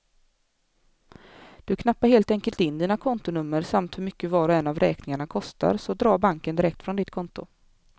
Du knappar helt enkelt in dina kontonummer samt hur mycket var och en av räkningarna kostar, så drar banken direkt från ditt konto.